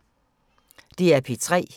DR P3